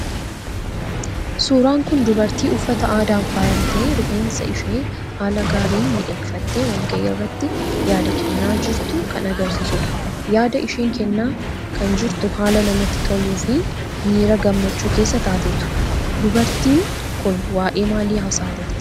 Suuraan kun dubartii uffata aadaan fayamtee rifeensa ishee haala gaariin miidhegfattee walga'ii irratti yaada kennaa jirtu kan agarsiisu dha. Yaada ishees kennaa kan jirtu haala namatti toluufi miira gammachuu keessa taateetu. Dubarttiin kun waa'ee maalii haasa'aa jirtii ?